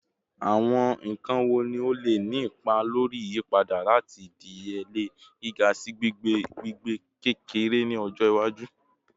Awọn nkan wo ni o le ni ipa lori iyipada lati idiyele giga si gbigbe gbigbe-kekere ni ọjọ iwaju?